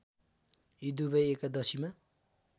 यी दुवै एकादशीमा